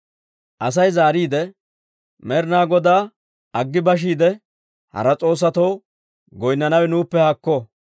Asay zaariide, «Med'ina Godaa aggi bashiide, hara s'oossatoo goynnanawe nuuppe haakko!